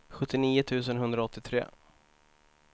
sjuttionio tusen etthundraåttiotre